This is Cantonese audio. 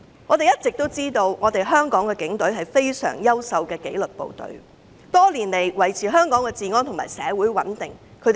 我們一向都知道，香港警隊是非常優秀的紀律部隊，多年來默默耕耘，維持香港的治安和社會穩定。